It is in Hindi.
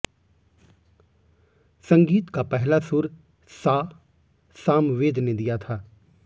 संगीत का पहला सुर सा सामवेद ने दिया था